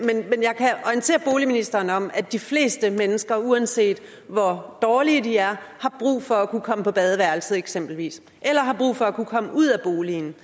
orientere boligministeren om at de fleste mennesker uanset hvor dårlige de er har brug for at kunne komme på badeværelset eksempelvis eller har brug for at kunne komme ud af boligen